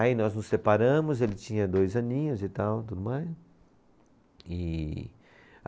Aí nós nos separamos, ele tinha dois aninhos e tal. Tudo mais. E